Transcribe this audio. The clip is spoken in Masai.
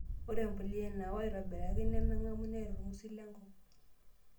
Ore empulia naoo aitobiraki nemeng'u neeeta orngusil lenkop.